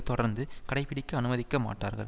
தொடர்ந்து கடைபிடிக்க அனுமதிக்கமாட்டார்கள்